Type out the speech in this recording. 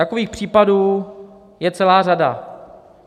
Takových případů je celá řada.